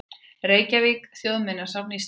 Reykjavík: Þjóðminjasafn Íslands.